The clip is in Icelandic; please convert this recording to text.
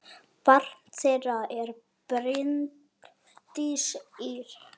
Barn þeirra er Bryndís Ýr.